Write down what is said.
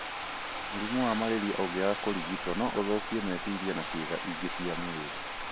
Mũrimũ wa malaria ũngĩaga kũrigĩtũo, no ũthũkie meciria na ciĩga ingĩ cia mwĩrĩ